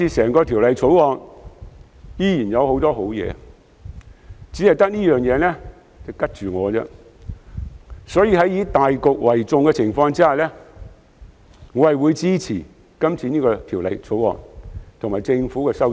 不過，《條例草案》整體仍有很多好建議，唯獨此事令我有保留，所以在以大局為重的情況下，我會支持《條例草案》及政府的修正案。